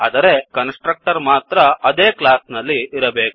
ಆದರೆ constructor ಮಾತ್ರ ಅದೇ ಕ್ಲಾಸ್ ನಲ್ಲಿ ಇರಬೇಕು